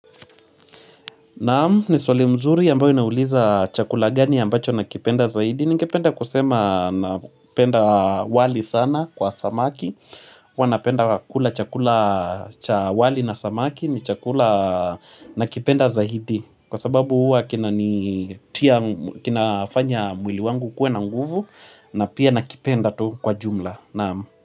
Naam, niswali mzuri ambayo inauliza chakula gani ambacho nakipenda zaidi. Ningependa kusema napenda wali sana kwa samaki. Huwa napenda kula chakula cha wali na samaki ni chakula nakipenda zahidi. Kwa sababu huwa kinanitia kinafanya mwili wangu ukuwe na nguvu na pia nakipenda tu kwa jumla. Naam.